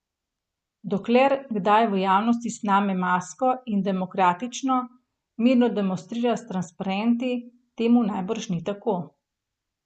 Dokler kdaj v javnosti sname masko in demokratično, mirno demonstrira s transparenti, temu najbrž ni tako.